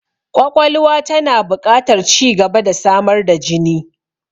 Ƙwaƙwalwa tana buƙatar ci gaba da samar da jini.